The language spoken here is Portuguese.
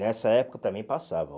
Nessa época também passava.